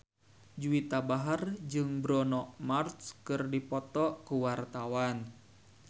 Juwita Bahar jeung Bruno Mars keur dipoto ku wartawan